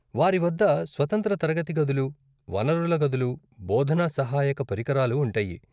వారి వద్ద స్వతంత్ర తరగతి గదులు, వనరుల గదులు, బోధనా సహాయక పరికరాలు ఉంటాయి.